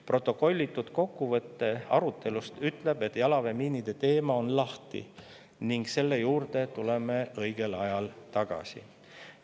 Protokollitud kokkuvõte arutelust ütleb, et jalaväemiinide teema on lahtine ning selle juurde tuleme õigel ajal tagasi.